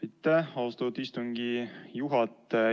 Aitäh, austatud istungi juhataja!